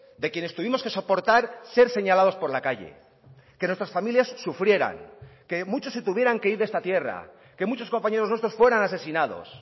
de quienes tuvimos que soportar ser señalados por la calle que nuestras familias sufrieran que muchos se tuvieran que ir de esta tierra que muchos compañeros nuestros fueran asesinados